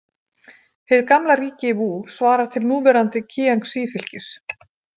Hið gamla ríki Vú svarar til núverandi Kíangsí- fylkis.